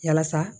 Yasa